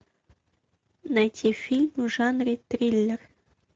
найти фильмы в жанре триллер